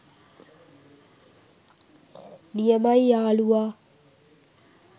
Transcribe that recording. නියමයි යාලුවා